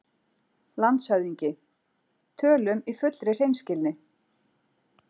LANDSHÖFÐINGI: Tölum í fullri hreinskilni